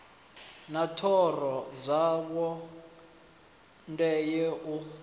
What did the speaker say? na thoro dzawo ndenya u